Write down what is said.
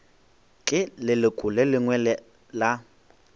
ke leloko le lengwe la